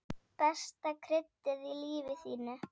Besta kryddið í lífi þínu.